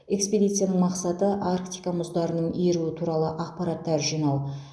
экспедицияның мақсаты арктика мұздарының еруі туралы ақпараттар жинау